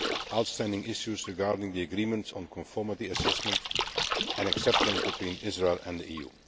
outstanding issues regarding the Agreement on Conformity Assessment and Acceptance between Israel and the EU.